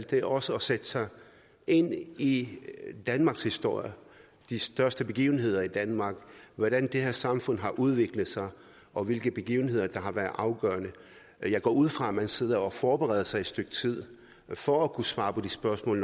det er også at sætte sig ind i danmarks historie de største begivenheder i danmark hvordan det her samfund har udviklet sig og hvilke begivenheder der har været afgørende jeg går ud fra at man sidder og forbereder sig et stykke tid for at kunne svare på de spørgsmål